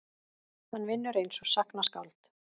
Hann vinnur einsog sagnaskáld.